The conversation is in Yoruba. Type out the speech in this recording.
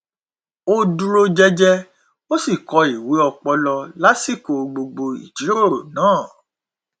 o dúró jẹjẹ ó sì kọ ìwé ọpọlọ lásìkò gbogbo ìjírórò náà